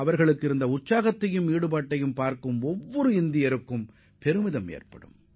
அவர்களது அர்ப்பணிப்பு உணர்வும் வீரியமும் ஒவ்வொரு இந்தியரையும் பெருமிதம் கொள்ளச் செய்யும்